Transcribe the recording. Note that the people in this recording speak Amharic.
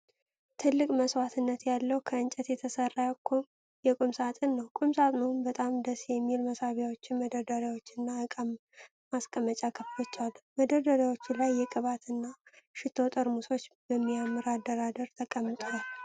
ትልቅ መስተዋት ያለው ከእንጨት የተሰራ የቁም ሳጥን ነው። ቁም ሳጥኑ በጣም ደስ የሚሉ መሳቢያዎች፣ መደርደሪያዎችና ዕቃ ማስቀመጫ ክፍሎች አሉት። በመደርደሪያዎቹ ላይ የቅባት እና ሽቶ ጠርሙሶች በሚያምር አደራደር ተቀምጠዋል።